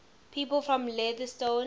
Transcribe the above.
people from leytonstone